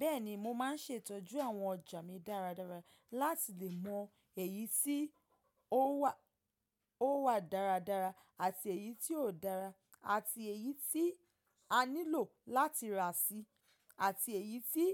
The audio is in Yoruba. Bẹ́ẹ̀ni mo ma n ṣètọ́jú àwọn ọjà mi dáradára láti lè mọ èyí tí ó wà dáradára àti èyí tí ò dára àti èyí tí a nílò láti rà sí àti èyí tí